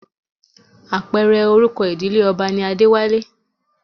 Apẹ̀rẹ̀ orúkọ ìdílé ọba ni Adéwálé